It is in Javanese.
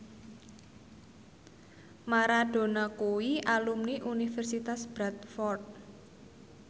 Maradona kuwi alumni Universitas Bradford